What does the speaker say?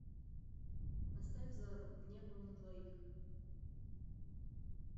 поставь зару небом на двоих